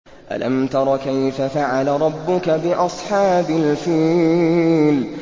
أَلَمْ تَرَ كَيْفَ فَعَلَ رَبُّكَ بِأَصْحَابِ الْفِيلِ